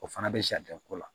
O fana bɛ sariya ko la